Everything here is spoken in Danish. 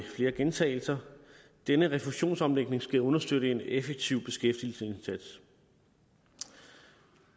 flere gentagelser denne refusionsomlægning skal understøtte en effektiv beskæftigelsesindsats